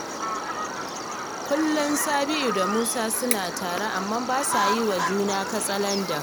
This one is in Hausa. Kullum Sabi’u da Musa suna tare amma ba sa yi wa juna katsalandan